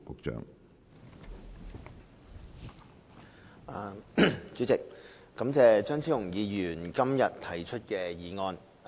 主席，感謝張超雄議員今天提出議案。